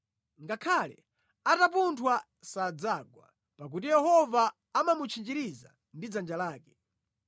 ngakhale atapunthwa sadzagwa, pakuti Yehova amamutchinjiriza ndi dzanja lake.